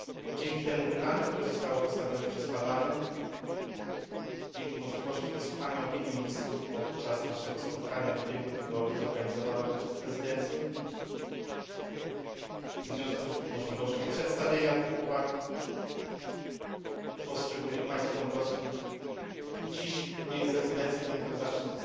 Dzięki temu pytaniu, które zostało postawione przez Parlament, dzięki możliwości wysłuchania opinii ministrów podczas naszego spotkania w ubiegłym tygodniu zorganizowanego przez prezydencję i w związku z możliwością przedstawienia tych uwag poszczególnych państw członkowskich dziś w imieniu prezydencji będę miał zaszczyt